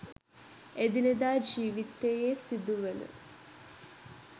එදිනෙදා ජීවිතයේ සිදුවන